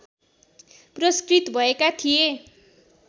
पुरस्कृत भएका थिए